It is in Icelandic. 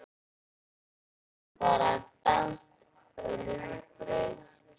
Kristín borðar danskt rúgbrauð.